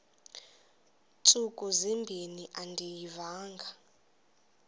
ntsuku zimbin andiyivanga